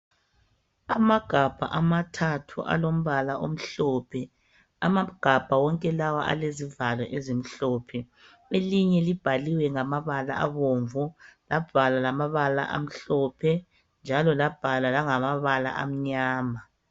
Amagabha amathathu alombala omhlophe ,amagabha wonke lawa alezivalo ezimhlophe .Elinye libhaliwe ngamabala abomvu labhalwa lamabala amhlophe njalo labhalwa langamabala amnyama.